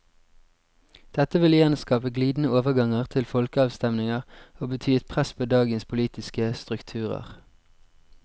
Dette vil igjen skape glidende overganger til folkeavstemninger, og bety et press på dagens politiske strukturer.